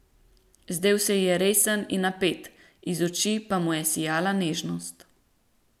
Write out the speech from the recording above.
Zdel se ji je resen in napet, iz oči pa mu je sijala nežnost.